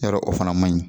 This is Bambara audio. Yɔrɔ o fana man ɲi